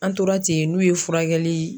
An tora ten n'u ye furakɛli